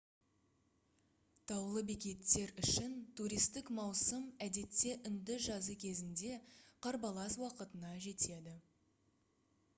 таулы бекеттер үшін туристік маусым әдетте үнді жазы кезінде қарбалас уақытына жетеді